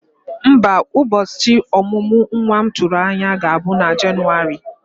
Mba, ụbọchị omumu nwa m tụrụ anya ga-abụ na Jenụwarị.